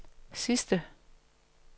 sidste